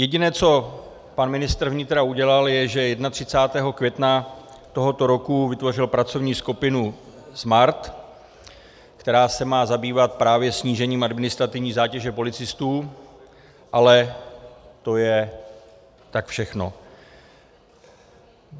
Jediné, co pan ministr vnitra udělal, je, že 31. května tohoto roku vytvořil pracovní skupinu Smart, která se má zabývat právě snížením administrativní zátěže policistů, ale to je tak všechno.